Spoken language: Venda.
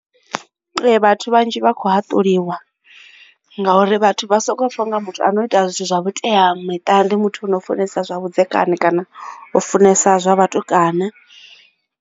Ee vhathu vhanzhi vha khou haṱuliwa ngauri vhathu vha soko pfha u nga muthu a no ita zwithu zwa vhuteamiṱa ndi muthu ono funesa zwa vhudzekani kana u funesa zwa vhatukana.